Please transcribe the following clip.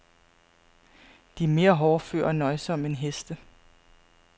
De er mere hårdføre og nøjsomme end heste.